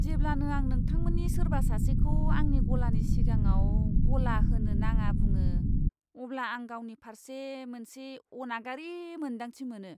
जेब्लानो आं नोंथांमोननि सोरबा सासेखौ आंनि गलानि सिगाङाव गला होनो नाङा बुङो, अब्ला आं गावनि फारसे मोनसे अनागारि मोन्दांथि मोनो!